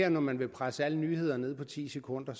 at når man vil presse alle nyhederne ned på ti sekunder